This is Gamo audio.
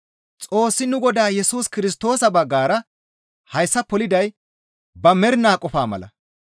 Xoossi nu Godaa Yesus Kirstoosa baggara hayssa poliday ba mernaa qofaa mala.